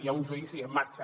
hi ha un judici en marxa